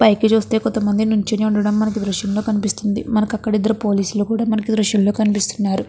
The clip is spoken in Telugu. పైకి చూస్తే కొత్త మంది నిలోచొని ఉండటము మనకు ద్రుశము లో కనిపిస్తుంది. మనకు అక్కడ ఇద్దరు పోలీసు లు కూడా మనకు దృశ్యం లో కనిపిస్తున్నారు.